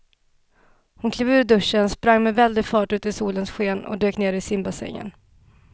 Hon klev ur duschen, sprang med väldig fart ut i solens sken och dök ner i simbassängen.